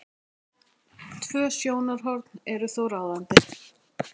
Tvö sjónarhorn eru þó ráðandi.